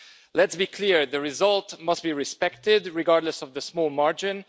Let's be clear the result must be respected, regardless of the small margin.